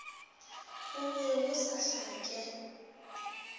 go be go sa hlake